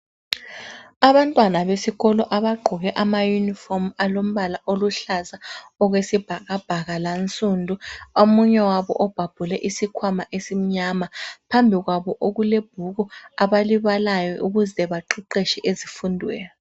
Abantwana besikolo abagqoke ama uniform alombala oluhlaza okwesibhakabhaka lansundu omunye wabo ubhabhule isikhwama esimnyama phambi kwabo kulebhuku abalibalayo ukuze baqeqetshe ezifundweni.